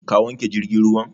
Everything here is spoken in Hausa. Ka wanke jirgin ruwan?